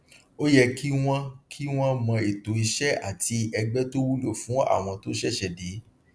ó yẹ kí wọn kí wọn mọ ètò iṣẹ àti ẹgbẹ tó wúlò fún àwọn tó ṣẹṣẹ dé